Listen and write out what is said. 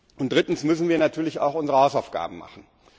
Und drittens müssen wir natürlich auch unsere Hausaufgaben machen.